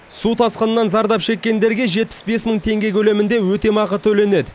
су тасқынынан зардап шеккендерге жетпіс бес мың теңге көлемінде өтемақы төленеді